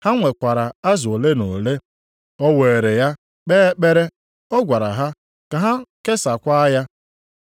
Ha nwekwara azụ ole na ole. O weere ya kpee ekpere, ọ gwara ha ka ha kesaakwa ya.